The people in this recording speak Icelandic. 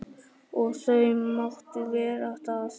Og þau máttu vera það.